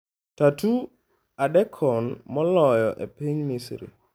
Tattoo adekon Moloyo e Piny Misri